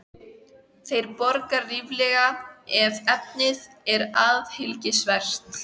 Þeir borga ríflega, ef efnið er athyglisvert